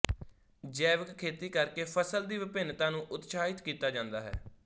ਜੈਵਿਕ ਖੇਤੀ ਕਰਕੇ ਫਸਲ ਦੀ ਵਿਭਿੰਨਤਾ ਨੂੰ ਉਤਸ਼ਾਹਿਤ ਕੀਤਾ ਜਾਂਦਾ ਹੈ